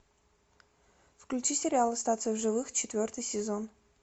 включи сериал остаться в живых четвертый сезон